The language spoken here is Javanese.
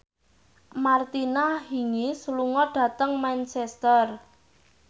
Martina Hingis lunga dhateng Manchester